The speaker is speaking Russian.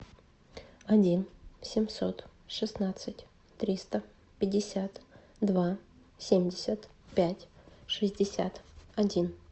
один семьсот шестнадцать триста пятьдесят два семьдесят пять шестьдесят один